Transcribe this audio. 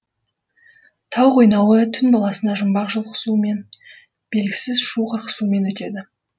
тау қойнауы түн баласына жұмбақ жұлқысумен белгісіз шу қырқысумен өтеді